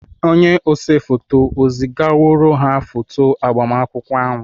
Onye ose foto ezigaworo ha foto agbamakwụkwọ ahụ?